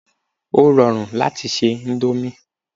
Ó rọrùn láti se índómì